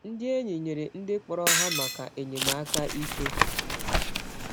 Ndị enyi nyere ndị kpọrọ ha maka enyemaka ike.